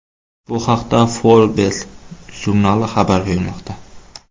Bu haqda Forbes jurnali xabar bermoqda .